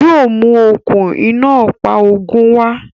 Yóò mú okún iná ọ̀pá ogun wa